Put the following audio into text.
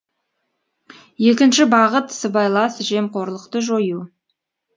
екінші бағыт сыбайлас жемқорлықты жою